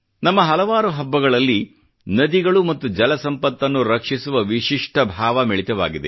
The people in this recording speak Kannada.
ನಮ್ಮ ಹಲವಾರು ಹಬ್ಬಗಳಲ್ಲಿ ನದಿಗಳು ಮತ್ತು ಜಲ ಸಂಪತ್ತನ್ನು ರಕ್ಷಿಸುವ ವಿಶಿಷ್ಟ ಭಾವ ಮಿಳಿತವಾಗಿದೆ